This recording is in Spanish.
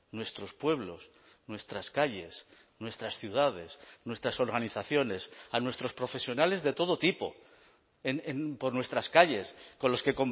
nuestros pueblos nuestras calles nuestras ciudades nuestras organizaciones a nuestros profesionales de todo tipo por nuestras calles con los que